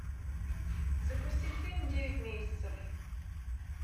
запусти фильм девять месяцев